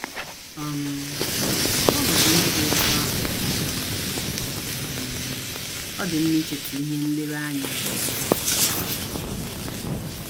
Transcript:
um N’ọnọdụ ndị dị otú ahụ um, um ọ dị mma icheta ihe nlereanya nke Jisọs Kraịst.